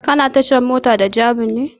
Kuna tashar mota da jabi ne?